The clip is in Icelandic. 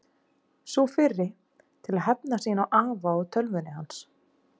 Sú fyrri: Til að hefna sín á afa og tölvunni hans.